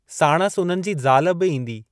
साणसि उन्हनि जी ज़ाल बि ईंदी।